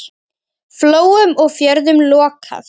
Flóum og fjörðum lokað.